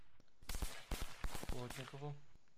плотникову